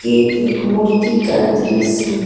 ये एक एक मूर्ति का दृश्य है।